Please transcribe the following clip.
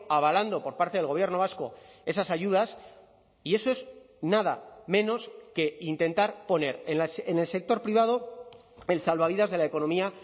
avalando por parte del gobierno vasco esas ayudas y eso es nada menos que intentar poner en el sector privado el salvavidas de la economía